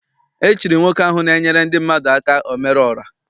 E chiri nwoke ahụ na-enyere ndị mmadụ aka omere ora.